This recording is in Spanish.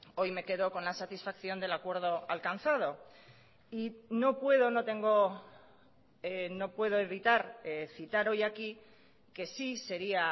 hoy me quedo con la satisfacción del acuerdo alcanzado y no puedo no tengo no puedo evitar citar hoy aquí que sí sería